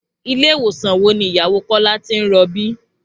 Ilé ìwòsàn wo ni ìyàwó Kọ́lá ti ń rọbí?